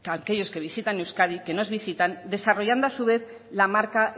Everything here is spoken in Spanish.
aquellos que visitan euskadi que nos visitan desarrollando a su vez la marca